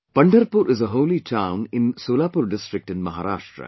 Pandharpur is a holy town in Solapur district in Maharashtra